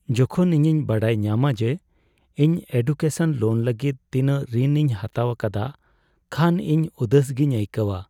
ᱡᱚᱠᱷᱚᱱ ᱤᱧᱤᱧ ᱵᱟᱰᱟᱭ ᱧᱟᱢᱟ ᱡᱮ ᱤᱧ ᱮᱰᱩᱠᱮᱥᱚᱱ ᱞᱳᱱ ᱞᱟᱹᱜᱤᱫ ᱛᱤᱱᱟᱹᱧ ᱨᱤᱱ ᱤᱧ ᱦᱟᱛᱟᱣ ᱟᱠᱟᱫᱟ ᱠᱷᱟᱱ ᱤᱧ ᱩᱫᱟᱹᱥ ᱜᱮᱧ ᱟᱹᱭᱠᱟᱹᱣᱟ ᱾